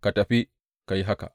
Ka tafi, ka yi haka.’